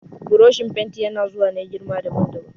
Burushin fenti ya na zuwa ne girma daban daban